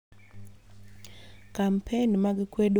Kampen mag kwedo keny matin